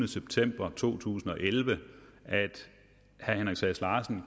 september to tusind og elleve at herre henrik sass larsen